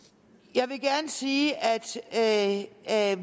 jeg vil gerne sige at